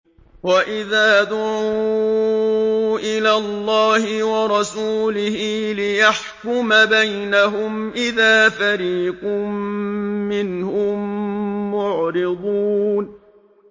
وَإِذَا دُعُوا إِلَى اللَّهِ وَرَسُولِهِ لِيَحْكُمَ بَيْنَهُمْ إِذَا فَرِيقٌ مِّنْهُم مُّعْرِضُونَ